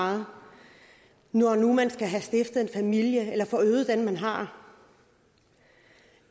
meget når nu man skal have stiftet en familie eller forøget den man har